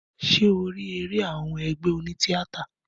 Ṣé o rí eré àwọn ẹgbé oní tíátà?